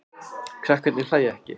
Krakkarnir hlæja ekki.